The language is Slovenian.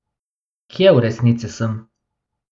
Kje v resnici sem?